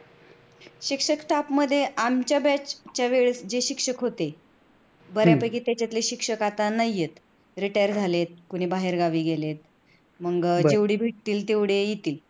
शिक्षक staff मध्ये आमच्या batch च्या वेळेस जे शिक्षक होते बऱ्यापैकी त्याच्यातले शिक्षक आता नाहीयेत. retired झालेत, कोणी बाहेर गावी गेलेत. मग, जेवढी भेटतील तेवढी येतील